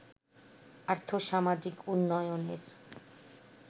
আর্থ-সামাজিক উন্নয়নের